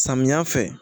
Samiya fɛ